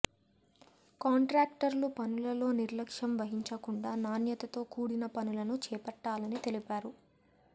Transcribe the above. కాంట్రాక్టర్లు పనులలో నిర్లక్ష్యం వహించకుండా నాణ్యతతో కూడిన పనులను చేపట్టాలని తెలిపారు